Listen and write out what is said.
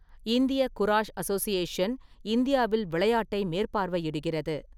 இந்திய Kurash Association இந்தியாவில் விளையாட்டை மேற்பார்வையிடுகிறது.